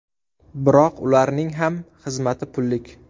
Biroq ularning ham xizmati pullik.